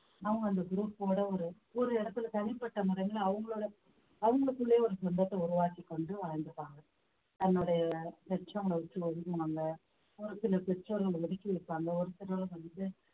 அவங்க அந்த group ஓட ஒரு ஒரு இடத்துல தனிப்பட்ட முறையில அவங்களோட அவங்களுக்குள்ளேயே ஒரு சொந்தத்தை உருவாக்கிக் கொண்டு வாழ்ந்துப்பாங்க தன்னுடைய பெற்றவங்கள விட்டு ஒதுங்கனவங்க ஒரு சில பெற்றோர்கள் ஒத்துக்கி வைப்பாங்க ஒரு சிலர் வந்து